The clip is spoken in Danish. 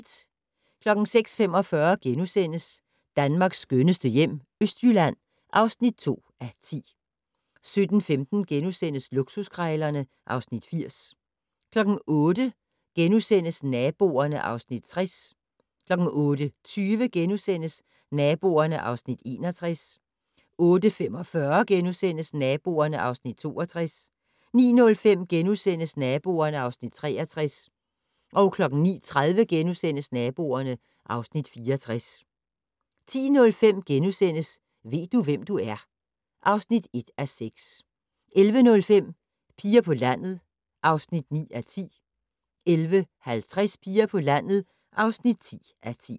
06:45: Danmarks skønneste hjem - Østjylland (2:10)* 07:15: Luksuskrejlerne (Afs. 80)* 08:00: Naboerne (Afs. 60)* 08:20: Naboerne (Afs. 61)* 08:45: Naboerne (Afs. 62)* 09:05: Naboerne (Afs. 63)* 09:30: Naboerne (Afs. 64)* 10:05: Ved du, hvem du er? (1:6)* 11:05: Piger på landet (9:10) 11:50: Piger på landet (10:10)